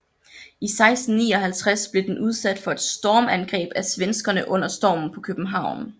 I 1659 blev den udsat for et stormangreb af svenskerne under Stormen på København